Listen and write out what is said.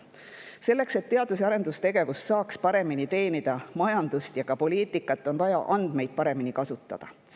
Selleks, et teadus‑ ja arendustegevus saaks paremini teenida majandust ja ka poliitikat, on vaja andmeid paremini kasutada.